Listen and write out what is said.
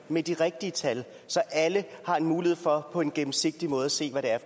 med de rigtige tal så alle har en mulighed for på en gennemsigtig måde at se hvad det er